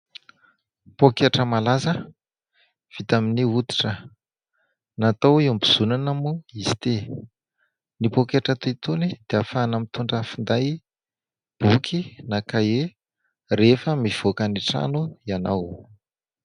Pôketra malaza vita amin'ny hoditra, natao iambozonana moa izy ity. Ny pôketra toy itony dia ahafahana mitondra finday, boky na kahie rehefa mivoaka ny trano ianao.